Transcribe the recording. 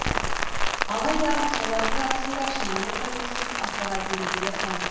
алайда солардың арасында шынайы тәуелсіз ақпарат беретіндер аз